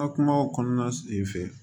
Ka kumaw kɔnɔna fɛ